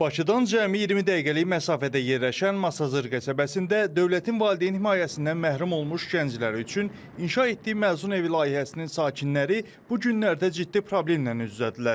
Bakıdan cəmi 20 dəqiqəlik məsafədə yerləşən Masazır qəsəbəsində dövlətin valideyn himayəsindən məhrum olmuş gənclər üçün inşa etdiyi məzun evi layihəsinin sakinləri bu günlərdə ciddi problemlə üz-üzədirlər.